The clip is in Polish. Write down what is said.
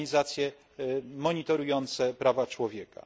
organizacje monitorujące prawa człowieka.